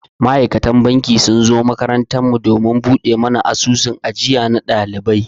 Ma'aikatan banki sun zo makarantar mu domin buɗe mana asusun ajiya na ɗalibai.